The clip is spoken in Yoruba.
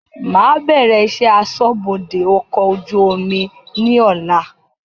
Máa bẹ̀rẹ̀ ìṣẹ́ aṣọ́bodè ọkọ̀ ojú omi ni ọ̀la